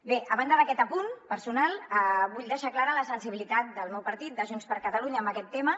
bé a banda d’aquest apunt personal vull deixar clara la sensibilitat del meu partit de junts per catalunya en aquest tema